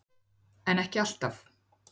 En ekki alltaf.